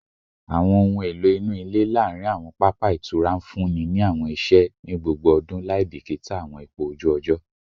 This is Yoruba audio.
Awọn ohun elo inu ile laarin awọn papa itura nfunni awọn iṣẹ ni gbogbo ọdun laibikita awọn ipo oju ojo